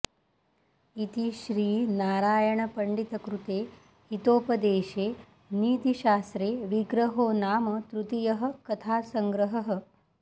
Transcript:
इति श्रीनारायणपण्डितकृते हितोपदेशे नीतिशास्त्रे विग्रहो नाम तृतीयः कथासङ्ग्रहः